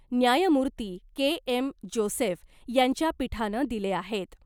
न्यायमूर्ती K M Joseph यांच्या पीठानं दिले आहेत .